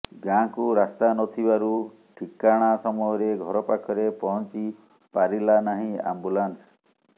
ଗାଁକୁ ରାସ୍ତା ନଥିବାରୁ ଠିକାଣା ସମୟରେ ଘର ପାଖରେ ପହଂଚି ପାରିଲାନାହିଁ ଆମ୍ବୁଲାନ୍ସ